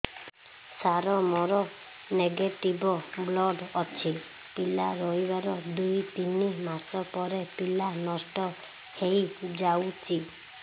ସାର ମୋର negative blood ଅଛି ପିଲା ରହିବାର ଦୁଇ ତିନି ମାସ ପରେ ପିଲା ନଷ୍ଟ ହେଇ ଯାଉଛି